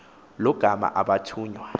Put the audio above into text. lo gama abathunywa